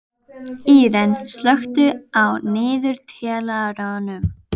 Íren, slökktu á niðurteljaranum.